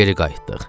Geri qayıtdıq.